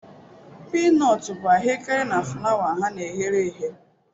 Piinotu bu ahuekere na fulawa ha na e ghere eghe